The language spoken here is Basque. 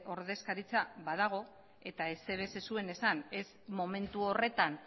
ordezkaritza badago eta ezer ere ez zuen esan ez momentu horretan